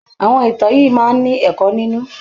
Àwọn ìtàn yìí máa ń ní ẹ̀kọ́ nínú.